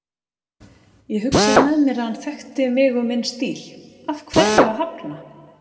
Ég hugsaði með mér að hann þekkti mig og minn stíl, af hverju að hafna?